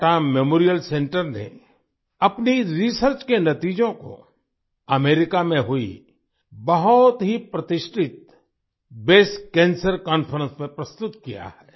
Tata memorial centre ने अपनी research के नतीजों को अमेरिका में हुई बहुत ही प्रतिष्ठित ब्रेस्ट कैंसर कॉन्फ्रेंस में प्रस्तुत किया है